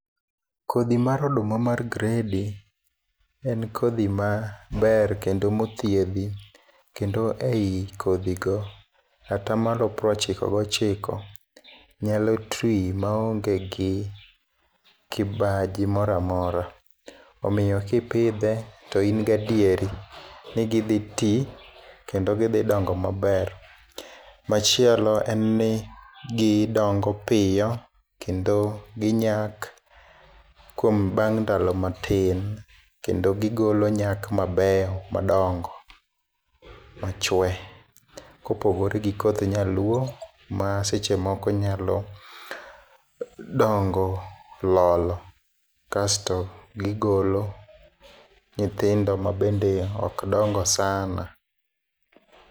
Kodhi mar oduma mar gredi en kodhi maber kendo mothiedhi kendo ei kodhi go, ka atamalo prochiko gochiko nyalo tii maonge gi kibaji moramora. omiyo kipidhe to in gadieri ni gidhi tii kendo gidhi dongo maber. Machielo en ni gidongo piyo kendo ginyak kuom bang' ndalo matin kendo gigolo nyak mabeyo madongo to chwe kopogore gi koth nyaluo, ma seche moko nyalo dongo lolo kasto gigolo nyithindo mabende ok dongo sana.